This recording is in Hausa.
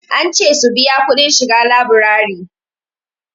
An ce su biya kudin shiga laburari.